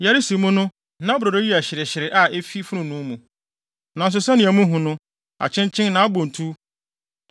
Yɛresi mu no, na brodo yi yɛ hyerehyere a efi fonoo mu. Nanso sɛnea muhu no, akyenkyen na abɔ ntuw.